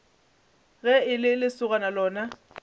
ge e le lesogana lona